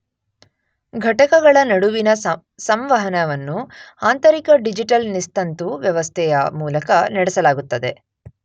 ಘಟಕಗಳ ನಡುವಿನ ಸಂವಹನವನ್ನು ಆಂತರಿಕ ಡಿಜಿಟಲ್ ನಿಸ್ತಂತು ವ್ಯವಸ್ಥೆಯ ಮೂಲಕ ನಡೆಸಲಾಗುತ್ತದೆ.